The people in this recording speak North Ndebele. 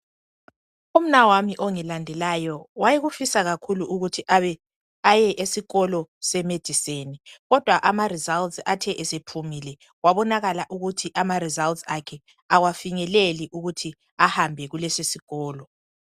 Umnawami ongilandelayo wayekufisa kakhulu ukuthi aye esikolo se medicine kodwa impumela ithe isiphumile kwabonakala ukuthi kafinyeleli ukuthi ahambe kulesi sikolo